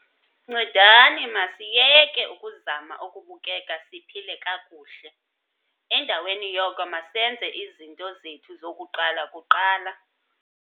Ncedani, masiyeke ukuzama ukubukeka siphile kakuhle, endaweni yoko masenze izinto zethu zokuqala kuqala!